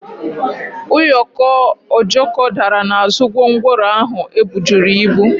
ụyọkọ Ojoko dara n'azụ gwongworo ahụ e bujuru ibu.